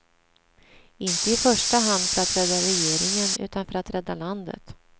Inte i första hand för att rädda regeringen utan för att rädda landet.